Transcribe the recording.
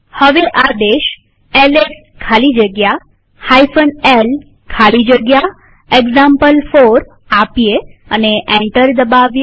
હવે આદેશ એલએસ ખાલી જગ્યા l ખાલી જગ્યા એક્ઝામ્પલ4 આપીએ અને એન્ટર દબાવીએ